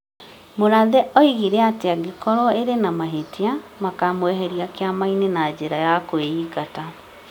Mũrathe oigire atĩ angĩkorwo ĩrĩ na mahĩtia, makũmweheria kĩama-inĩ na njĩra ya kũingata ;